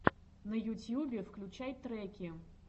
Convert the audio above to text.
на ютьюбе включай треки